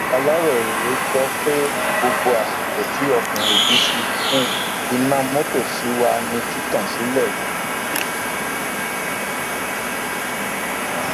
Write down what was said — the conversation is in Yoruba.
aláròye gbọ pé gbogbo àsìkò tí ọkùnrin yìí fi kú iná mọtò ṣì wà ní títàn sílẹ